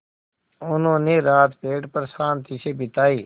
उन्होंने रात पेड़ पर शान्ति से बिताई